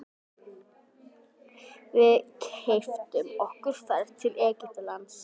Við keyptum okkur ferð til Egyptalands.